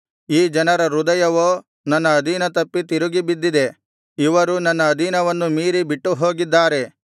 ಈ ಜನರ ಹೃದಯವೋ ನನ್ನ ಅಧೀನ ತಪ್ಪಿ ತಿರುಗಿಬಿದ್ದಿದೆ ಇವರು ನನ್ನ ಅಧೀನವನ್ನು ಮೀರಿ ಬಿಟ್ಟುಹೋಗಿದ್ದಾರೆ